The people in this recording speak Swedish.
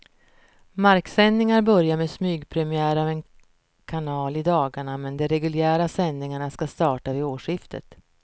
Marksändningar börjar med smygpremiär av en kanal i dagarna, men de reguljära sändningarna ska starta vid årsskiftet.